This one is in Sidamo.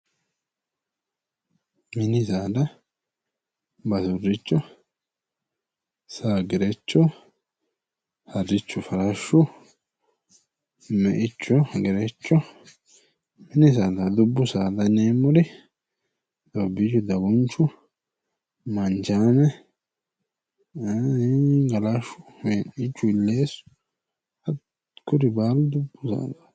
Mini saada basuricho, saa, gerecho, harichu farashu, meicho, gerecho mini saadati, dubbu saada yinneemmori amboomi, dagunchu ,manchame, galashu ,wee'nichu hi'lesu hakkuri baalu dubbu saadati.